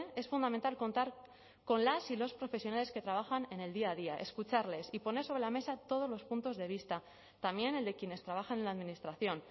es fundamental contar con las y los profesionales que trabajan en el día a día escucharles y poner sobre la mesa todos los puntos de vista también el de quienes trabajan en la administración